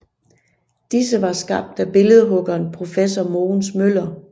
Disse var skabt af billedhuggeren professor Mogens Møller